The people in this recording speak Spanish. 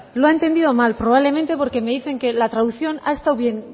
lo ha entendido mal probablemente porque me dicen que la traducción ha estado bien